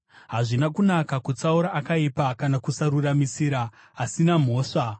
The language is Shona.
Hazvina kunaka kutsaura akaipa kana kusaruramisira asina mhosva.